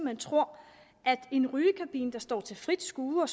hen tror at en rygekabine der står til frit skue